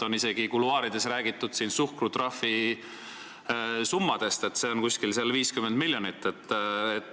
Kuluaarides on räägitud isegi suhkrutrahvisummast, see on umbes 50 miljonit.